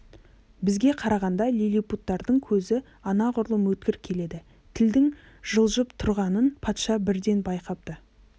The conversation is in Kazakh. бізге қарағанда лиллипуттардың көзі анағұрлым өткір келеді тілдің жылжып тұрғанын патша бірден байқапты